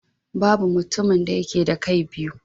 Babu mutumin da yake da kai biyu.